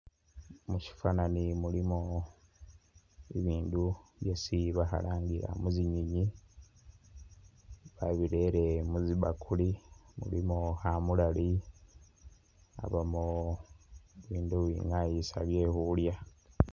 Mushifanani mulimo bibindu byesi bakhalangila mutsinyenyi babirele mustibakuli mulimo khamulali khabamo bindu bingaayisa byekhulya.